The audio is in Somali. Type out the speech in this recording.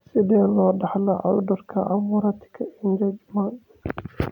Sidee loo dhaxlaa cudurka Camurati Engelmann?